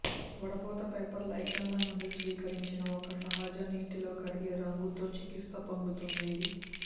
వడపోత పేపర్ లైకెన్ల నుండి స్వీకరించిన ఒక సహజ నీటిలో కరిగే రంగుతో చికిత్స పొందుతుంది